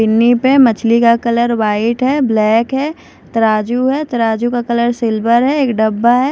पिन्नी पे मछली का कलर व्हाइट है ब्लैक है तराजू है तराजू का कलर सिल्वर है एक डब्बा है।